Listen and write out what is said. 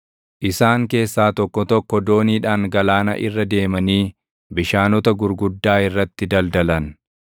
Isaan keessaa tokko tokko dooniidhaan galaana irra deemanii bishaanota gurguddaa irratti daldalan.